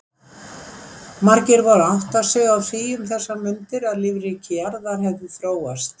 Margir voru að átta sig á því um þessar mundir að lífríki jarðar hefði þróast.